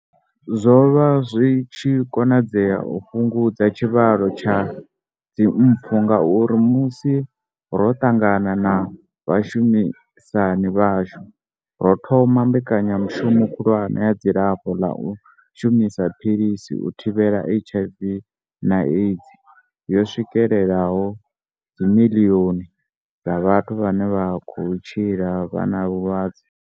Zwo vha zwi tshi konadzea u fhungudza tshivhalo tsha dzimpfu ngauri, musi ro ṱangana na vhashumisani vhashu, ro thoma mbekanyamushumo khulwane ya dzilafho ḽa u shumisa philisi u thivhela HIV na AIDS yo swikelelaho dzimiḽioni dza vhathu vhane vha khou tshila vha na vhulwadze.